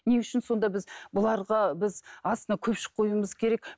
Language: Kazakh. не үшін сонда біз бұларға біз астына көпшік қоюымыз керек